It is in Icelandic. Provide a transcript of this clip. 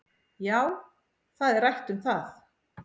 Já, það er rætt um það